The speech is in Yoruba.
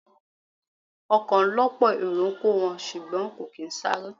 Ọkọ̀ ọ lọ́pọ̀ èrò kò wón, ṣùgbọ́n kò kín sáré.